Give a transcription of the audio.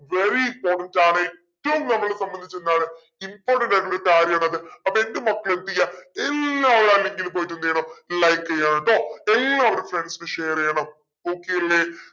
very important ആണ് ഏറ്റവും നമ്മളെ സംബന്ധിച്ചെന്താണ് important ആയിട്ടുള്ളൊരു കാര്യാണത് അപ്പോ എന്റെ മക്കളെന്തെയ്യ എല്ലാവരും ആ link ൽ പോയിട്ടെന്തെയ്യണം like ചെയ്യണെട്ടോ എല്ലാവരും friends ന് share ചെയ്യണം okay അല്ലെ